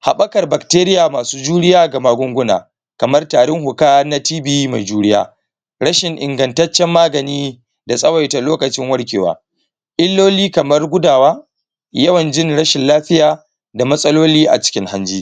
habbakar bacteria masu juriya ga magunguna kamar tarin huka na tb mai juriya rashin ingantancen magani da tsawaita lokacin warkewa iloli kamar gudawa yawan jin rashin lafiya da matsaloli a cikin hanji